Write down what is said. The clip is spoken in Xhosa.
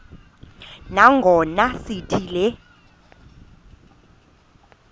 nangona sithi le